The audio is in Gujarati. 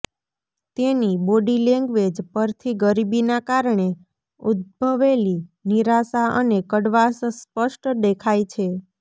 તેની બોડી લેંગ્વેજ પરથી ગરીબીના કારણે ઉદ્ભવેલી નિરાશા અને કડવાશ સ્પષ્ટ દેખાય છે